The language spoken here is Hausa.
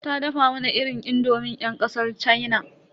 Ta dafa mana irin indomin yan kasar sin.